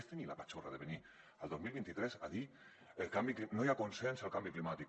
és tenir la patxorra de venir el dos mil vint tres a dir no hi ha consens sobre el canvi climàtic